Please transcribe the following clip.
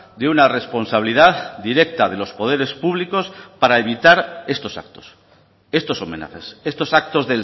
de una responsabilidad directa de los poderes públicos para evitar estos actos estos homenajes estos actos